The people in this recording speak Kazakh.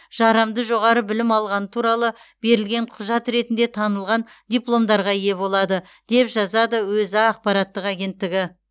жарамды жоғары білім алғаны туралы берілген құжат ретінде танылған дипломдарға ие болады деп жазады өза ақпараттық агенттігі